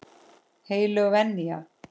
Heilög venja.